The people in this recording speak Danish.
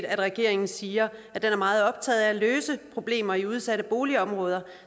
at regeringen siger at den er meget optaget af at løse problemer i udsatte boligområder